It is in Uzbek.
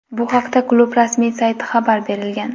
Bu haqda klub rasmiy saytida xabar berilgan .